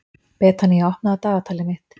Betanía, opnaðu dagatalið mitt.